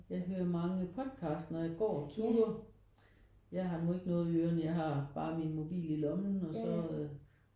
Jeg hører mange podcasts når jeg går turer. Jeg har nu ikke noget i ørerne jeg har bare min mobil i lommen og så øh